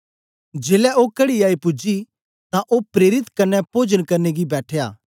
जेलै ओ कड़ी आई पूजी तां ओ प्रेरित कन्ने पोजन करने गी बैठया